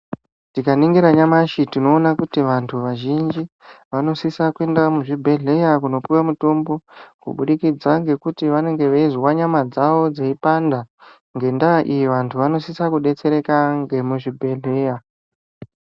Tikaningira nyamashi tinoona kuti vantu vazhinji vanosisa kuenda muzvibhedhleya kunopiwa mutombo kubudikidza ngekuti vanenge veizwa nyama dzavo dzeipanda ngendaa iyi vantu vanosisa kudetsereka ngemuzvibhedhleya.